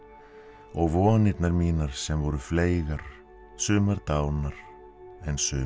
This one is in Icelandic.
og vonirnar mínar sem voru fleygar sumar dánar en sumar